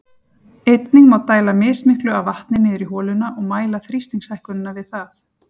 Einnig má dæla mismiklu af vatni niður í holuna og mæla þrýstingshækkunina við það.